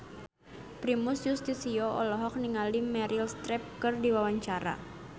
Primus Yustisio olohok ningali Meryl Streep keur diwawancara